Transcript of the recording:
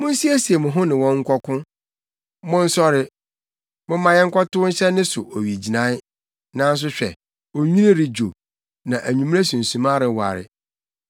“Munsiesie mo ho ne no nkɔko! Monsɔre, momma yɛnkɔtow nhyɛ ne so owigyinae! Nanso hwɛ, onwini redwo, na anwummere sunsuma reware.